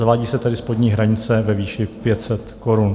Zavádí se tedy spodní hranice ve výši 500 korun.